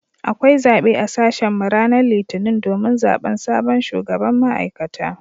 Akwai zabe a sashen mu ranar litinin domin zaben sabon shugaban ma’aikata.